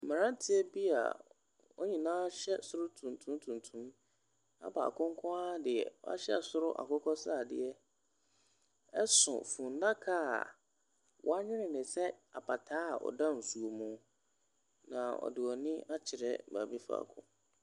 Mmranteɛ bi a wɔn nyinaa hyɛ soro tuntum tuntum na baako nko ara deɛ wahyɛ soro akokɔ sradeɛ so fundaka a wɔnwene no sɛ apataa a ɔda nsuo mu. Na wɔde wɔn ani akyerɛ baabi faako.